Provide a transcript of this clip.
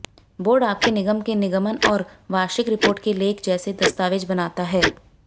board आपके निगम के निगमन और वार्षिक रिपोर्ट के लेख जैसे दस्तावेज़ बनाता है